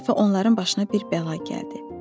Bir dəfə onların başına bir bəla gəldi.